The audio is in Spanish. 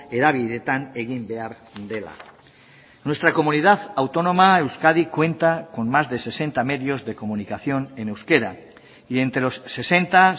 hedabideetan egin behar dela nuestra comunidad autónoma euskadi cuenta con más de sesenta medios de comunicación en euskera y entre los sesenta